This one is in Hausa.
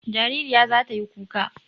Jaririya za ta yi kuka.